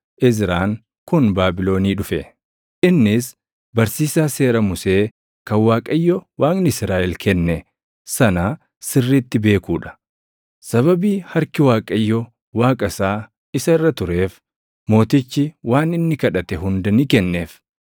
Izraan kun Baabilonii dhufe. Innis barsiisaa Seera Musee kan Waaqayyo Waaqni Israaʼel kenne sana sirriitti beekuu dha. Sababii harki Waaqayyo Waaqa isaa isa irra tureef mootichi waan inni kadhate hunda ni kenneef.